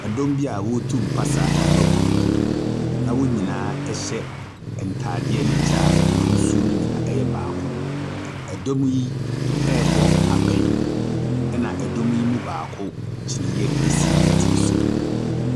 Ɛdɔm bi a wɔretu mpasa afa kurom na wɔn nyinaa ntaadeɛ ne kyɛ a n'ahosuo no nyinaa yɛ babako. Ɛdɔm yi rebɔ abɛn. Dɔm yi mu baako kyiniiɛ si ne so.